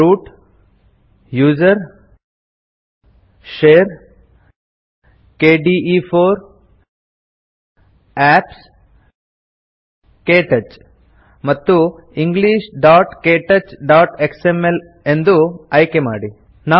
root gtusr gtshare gtkde4 gtapps ಜಿಟಿಕೆಟಚ್ ಮತ್ತು englishktouchಎಕ್ಸ್ಎಂಎಲ್ ಎಂದು ಆಯ್ಕೆಮಾಡಿ